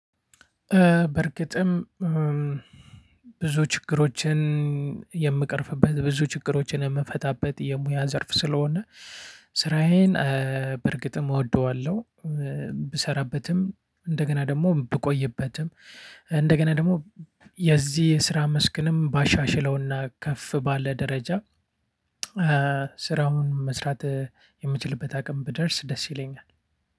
በርግጥም ብዙ ችግሮችን የምቀርፍበት ብዙ ችግሮችን የምንፈታበት የሙያ ዘርፍ ስለሆነ ስራዬን በርግጥም እወደዋለሁ። ብሰራበትም እንደገና ደግሞ ብቆይበትም እንደገና ደግሞ የዚህ የስራ መስክንም ባሻሽለውና ከፍ ባለ ደረጃ። ስራውን መስራት የምችልበት አቅም ብደርስ ደስ ይለኛል።